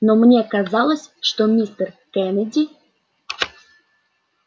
но мне казалось что мистер кеннеди